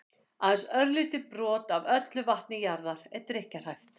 aðeins örlítið brot af öllu vatni jarðar er drykkjarhæft